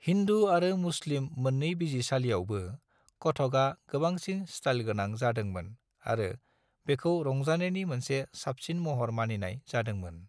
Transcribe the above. हिन्दू आरो मुस्लिम मोननै बिजिरसालिआवबो, कथकआ गोबांसिन स्टाइलगोनां जादोंमोन आरो बेखौ रंजानायनि मोनसे साबसिन महर मानिनाय जादोंमोन।